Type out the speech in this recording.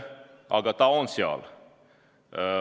Aga see on seal.